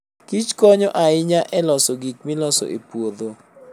Kich konyo ahinya e loso gik miloso e puodho.